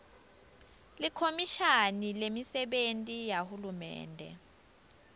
likhomishani lemisebenti yahulumende